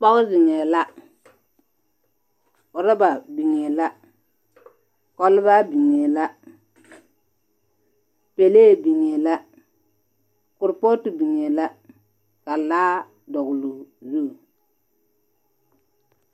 Pɔg zeŋɛɛ la, orɔba biŋee la, kɔbaa biŋee la, pelee biŋee la korpɔɔto biŋee la, ka laa dɔgeloo zu.